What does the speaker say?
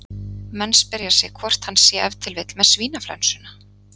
Menn spyrja sig hvort hann sé ef til vill með svínaflensuna?